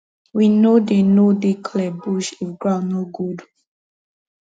we no dey no dey clear bush if ground no good